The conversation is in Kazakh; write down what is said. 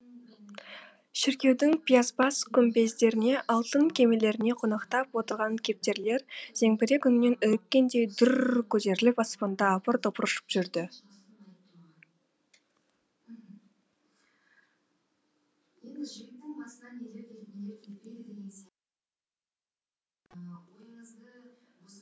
шіркеудің пиязбас күмбездеріне алтын кемерлеріне қонақтап отырған кептерлер зеңбірек үнінен үріккендей дүр р р көтеріліп аспанда апыр топыр ұшып жүрді